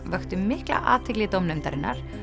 vöktu mikla athygli dómnefndarinnar